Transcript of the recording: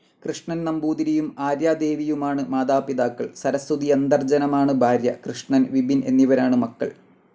കൃഷ്ണൻ നമ്പൂതിരിയും ആര്യാദേവിയുമാണ് മാതാപിതാക്കൾ. സരസ്വതിയന്തർജ്ജനമാണ് ഭാര്യ. കൃഷ്ണൻ, വിപിൻ എന്നിവരാണ് മക്കൾ.